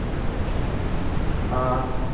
ਹਾਂ ਅਮ